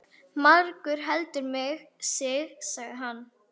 Margur heldur mig sig, sagði hann.